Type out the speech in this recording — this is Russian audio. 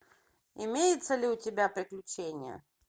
имеется ли у тебя приключения